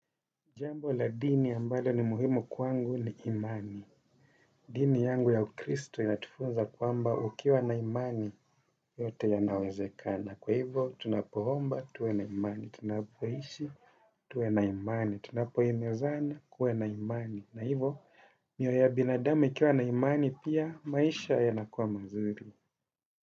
Jambo la dini ambalo ni muhimu kwangu ni imani. Dini yangu ya ukristo inatufunza kwamba ukiwa na imani yote yanawezekana. Kwa hivo, tunapoomba, tuwe na imani. Tunapoishi, tuwe na imani. Tunapohimizana, kuwe na imani. Na hivo, miyo ya binadamu ikiwa na imani, pia maisha ya nakuwa mazuri.